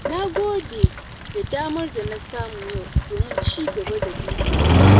Na gode da damar da na samu yau domin cigaba da burina.